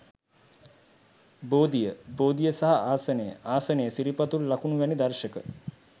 බෝධිය, බෝධිය සහ ආසනය, ආසනය, සිරිපතුල් ලකුණ වැනි දර්ශක